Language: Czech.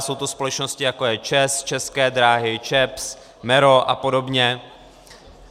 Jsou to společnosti, jako je ČEZ, České dráhy, ČEPS, MERO a podobně.